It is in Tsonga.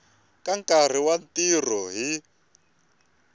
ka nkarhi wa ntirho hi